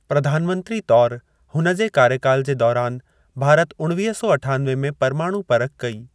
प्रधानमंत्री तौर हुन जे कार्यकाल जे दौरान, भारत उणवीह सौ अठानवे में परमाणु परख कई।